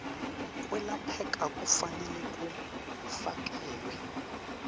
kwelapheka kufanele kufakelwe